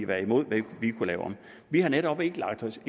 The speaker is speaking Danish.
være imod hvad vi kunne lave om vi har netop ikke lagt os